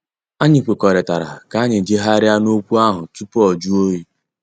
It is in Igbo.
Anyị kwekọrịtara ka anyị jegharia na okwu ahụ tupu ọ jụọ oyi.